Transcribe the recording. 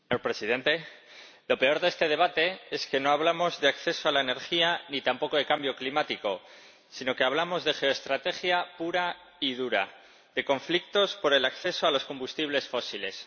Señor Presidente, lo peor de este debate es que no hablamos de acceso a la energía, ni tampoco de cambio climático, sino que hablamos de geoestrategia pura y dura, de conflictos por el acceso a los combustibles fósiles.